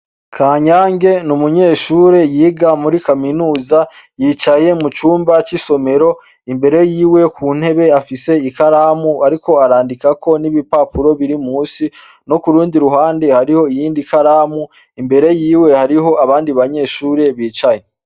Kanyange ni umunyeshure yiga muri Kaminuza, yicaye mucumba cisomero, imbere yiwe kuntebe afise ikaramu ariko arandikako nibipapuro biri musi no kurundi ruhande hariho iyindi ikaramu. Imbere yiwe hariho abandi banyeshure bicaye.